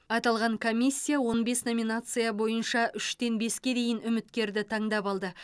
аталған комиссия он бес номинация бойынша үштен беске дейін үміткерді таңдап алды